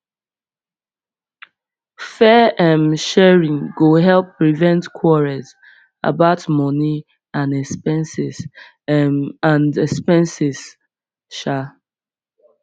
fair um sharing go help prevent quarrels about money and expenses um and expenses um